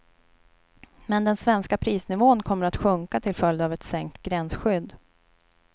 Men den svenska prisnivån kommer att sjunka till följd av ett sänkt gränsskydd.